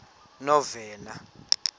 novena